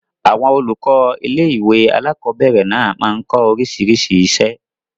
Àwọn olùkọ́ ilé-ìwé alákobẹ̀rẹ̀ náà máa n kọ́ oríṣiríṣi iṣẹ́